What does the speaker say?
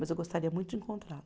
Mas eu gostaria muito de encontrá-la.